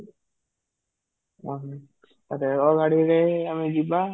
ରେଳ ଗାଡିରେ ଆମେ ଯିବା